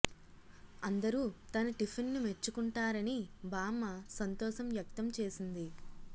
అందరూ తన టిఫిన్ ను మెచ్చుకుంటారని బామ్మ సంతోషం వ్యక్తం చేసింది